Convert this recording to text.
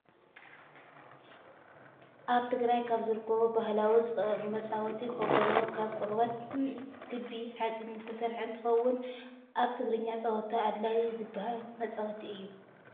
ኣብ ትግራይ ካብ ዝርከቡ ባህላዊ መፃወቲ ከበሮ ካብ ቆርበትን ክቢ ሓፂንን ዝተሰረሓ እንትከውን፣ ኣብ ትግርኛ ፀወታ ኣድላይ ዝባሃል መፃወቲ እዩ።